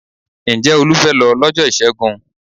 Ǹjẹ́ Olú fẹ́ lọ lọ́jọ́ Ìṣẹ́gun?